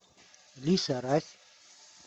лиса рась